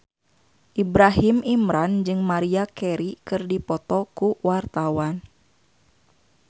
Ibrahim Imran jeung Maria Carey keur dipoto ku wartawan